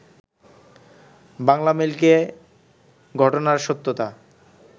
বাংলামেইলকে ঘটনার সত্যতা